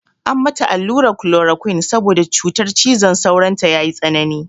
An mata alluran klorokwin saboda cutar cizon sauron ta ya yi tsanani.